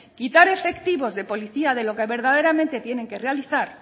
quitar efectivos de policía de lo que verdaderamente tienen que realizar